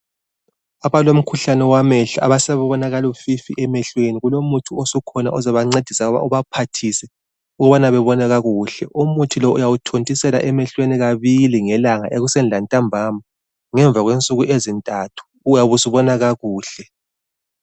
Abalomkhuhlane wamehlo, asebebona kalufifi emehlweni, kulomuthi osukhona ozobancedisa ubaphathise ukubana bebone kakuhle. Umuthi lo uyawuthontisela emehlweni kabili ngelanga ekuseni lantambama ngemva kwensuku ezintathu uyabe usubona kakuhle.